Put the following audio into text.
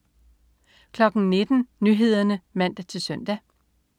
19.00 Nyhederne (man-søn)